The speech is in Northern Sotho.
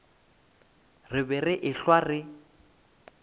re be re ehlwa re